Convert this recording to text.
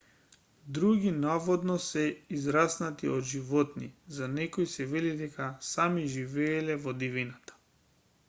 други наводно се израснати од животни за некои се вели дека сами живееле во дивината